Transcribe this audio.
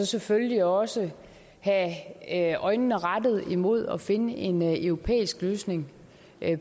selvfølgelig også have øjnene rettet mod at finde en europæisk løsning